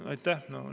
Aitäh!